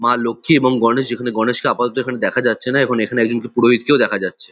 মা লক্ষী এবং গণেশ যেখানে গণেশকে আপাতত এখানে দেখা যাচ্ছে না এখন এখানে একজনকে পুরোহিতকেও দেখা যাচ্ছে।